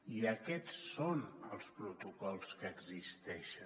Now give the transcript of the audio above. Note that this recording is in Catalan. i aquests són els protocols que existeixen